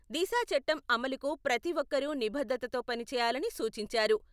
దిశా చట్టం అమలుకు ప్రతి ఒక్కరూ నిబద్ధతతో పని చేయాలని సూచించారు.